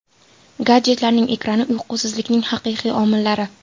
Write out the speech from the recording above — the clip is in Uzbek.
Gadjetlarning ekrani – uyqusizlikning haqiqiy omillari.